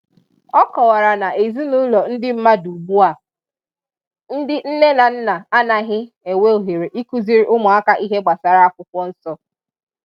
ọ kọwara na n'ezinaụlọ ndị mmadụ ugbu a, ndị nne na nna anaghị e nwe ohere ikuziri ụmụaka ihe gbasara akwụkwọ nsọ.